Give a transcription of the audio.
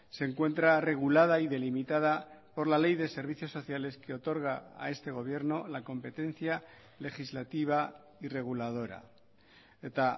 se encuentra regulada y delimitada por la ley de servicios sociales que otorga a este gobierno la competencia legislativa y reguladora eta